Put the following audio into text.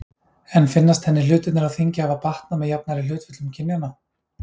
En finnast henni hlutirnir á þingi hafa batnað með jafnari hlutföllum kynjanna?